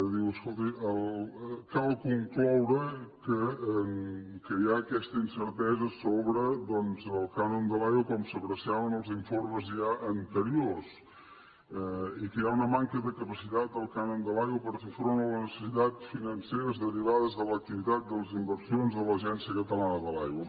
diu escoltin cal concloure que hi ha aquesta incertesa sobre el cànon de l’aigua com s’apreciava en els informes ja anteriors i que hi ha una manca de capacitat del cànon de l’aigua per fer front a les necessitats financeres derivades de l’activitat de les inversions de l’agència catalana de l’aigua